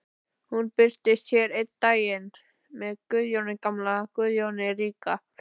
Hún birtist hér einn daginn með Guðjóni gamla, Guðjóni ríka.